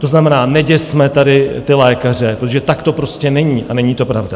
To znamená, neděsme tady ty lékaře, protože tak to prostě není a není to pravda.